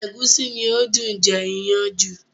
Ẹ̀gúsí ni ó dùn jẹ iyán jù